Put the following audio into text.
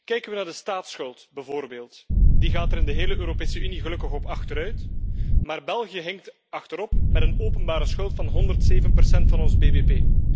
Kijken we naar de staatsschuld bijvoorbeeld die gaat er in de hele Europese Unie gelukkig op achteruit maar België hinkt achterop met een openbare schuld van 107 procent van ons BBP.